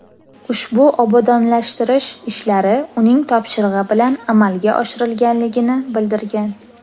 Ushbu obodonlashtirish ishlari uning topshirig‘i bilan amalga oshirilganligini bildirgan.